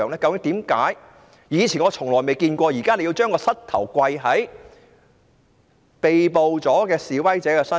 我以前從未見過警察用膝頭跪在被捕示威者身上。